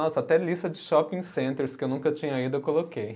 Nossa, até lista de shopping centers que eu nunca tinha ido eu coloquei.